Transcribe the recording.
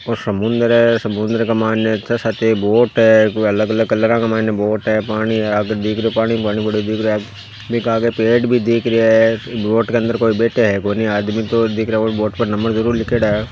ओ समुंदर है समुंदर के मायने छः सात बोट है कोई अलग अलग कलरा का मायने बोट है पानी है आगे दिख रियो पानी पानी पड़ो दिख रियो है बीके आगे पेड़ भी दिख रिया है बोट के अन्दर कोई बैठे है कोनी आदमी तो दिख रिया कोनी बोट पर नम्बर ज़रूर लिखेड़ा है।